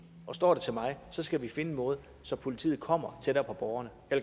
og står det til mig skal vi finde en måde så politiet kommer tættere på borgerne